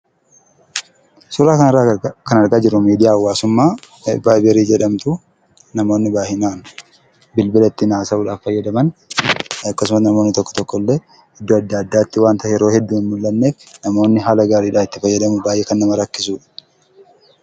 Suuraa kanarraa kan argaa jirruu miidiyaa hawaasummaa vaayibarii jedhamtu namoonni baay'inaan bilbila ittiin haasa'uudhaaf fayyadaman akkasuma namoonni tokko tokko illee iddoo adda addaatti wanta yeroo hedduu hin mul'anneef namoonni haala gaariidhaan itti fayyadamuuf kan baay'ee nama rakkisudha.